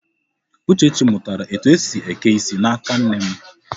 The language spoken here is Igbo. Uchechi mụtara etu esi eke isi n'aka nne m.